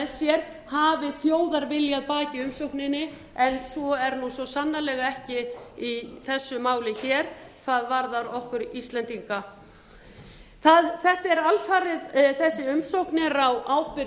sér hafi þjóðarvilja að baki umsókninni en svo er nú svo sannarlega ekki í þessu máli hér hvað varðar okkur íslendinga þessi umsókn er alfarið á ábyrgð